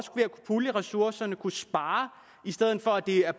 pulje ressourcerne kunne spare i stedet for at de er